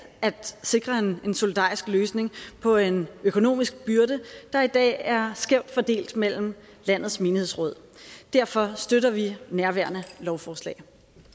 at sikre en en solidarisk løsning på en økonomisk byrde der i dag er skævt fordelt mellem landets menighedsråd derfor støtter vi nærværende lovforslag